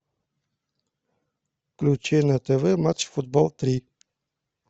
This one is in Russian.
включи на тв матч футбол три